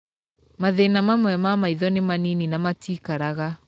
Mathĩna mamwe ma maitho nĩ manini na matiikaraga.